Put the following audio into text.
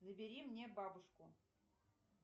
набери мне бабушку